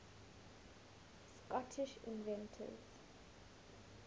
scottish inventors